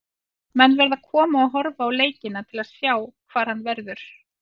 Menn verða að koma og horfa á leikina til að sjá hvar hann verður.